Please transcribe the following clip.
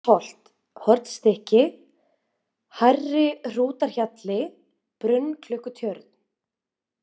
Hlíðarpollsholt, Hornstykki, Hærri-Hrútahjalli, Brunnklukkutjörn